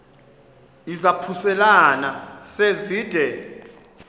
izaphuselana se zide